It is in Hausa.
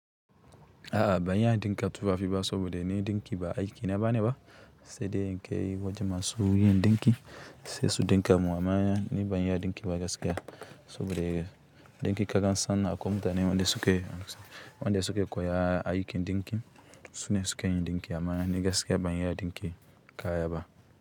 A'a, ba ni haɗin kai tufafi ba saboda ni ɗinki ba aiki na ba ne ba, sai dai in kai wajen masu yin ɗinki sai su ɗinka mu amma ni ban iya ɗinki ba gaskiya saboda ɗinki kakan sani a kwa mutane wanda suke, wanda suke koya aikin ɗinki. Su ne sukayi ɗinki amana ni gaskiya ban yi ɗinki ka yaba.